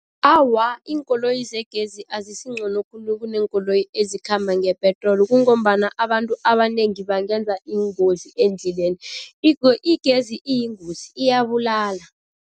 Awa, iinkoloyi zegezi azisingcono khulu kuneenkoloyi ezikhamba ngepetroli kungombana abantu abanengi bangenza iingozi endleleni igezi iyingozi iyabulala.